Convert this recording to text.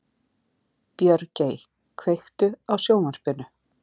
Björgey, kveiktu á sjónvarpinu.